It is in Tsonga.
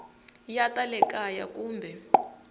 ya ta le kaya kumbe